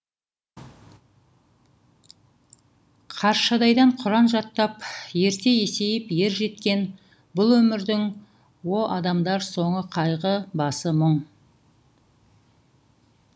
қаршадайдан құран жаттап ерте есейіп ержеткен бұл өмірдің о адамдар соңы қайғы басы мұң